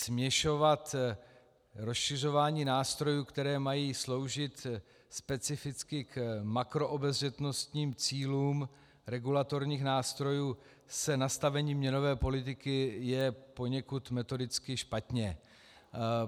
Směšovat rozšiřování nástrojů, které mají sloužit specificky k makroobezřetnostním cílům regulatorních nástrojů, s nastavením měnové politiky je poněkud metodicky špatně.